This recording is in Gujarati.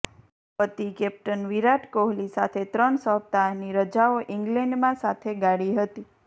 પતિ કેપ્ટન વિરાટ કોહલી સાથે ત્રણ સપ્તાહ ની રજાઓ ઇંગ્લેન્ડમાં સાથે ગાળી હતી